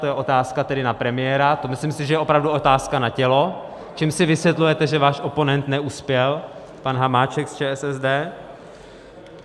To je otázka tedy na premiéra, to si myslím, že je opravdu otázka na tělo, čím si vysvětlujete, že váš oponent neuspěl, pan Hamáček z ČSSD.